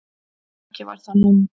Ekki var það nú.